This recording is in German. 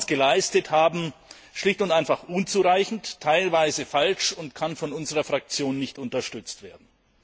geleistet haben, schlicht und einfach unzureichend, teilweise falsch und kann von unserer Fraktion nicht unterstützt werden.